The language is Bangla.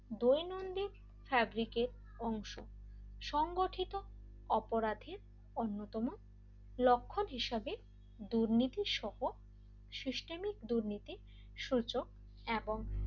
দৈনন্দিন অংশ সংঘটিত অপরাধের অন্যতম লক্ষণ হিসেবে দুর্নীতি সহ সিস্টেমিক দুর্নীতি সূচক এবং